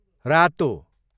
रातो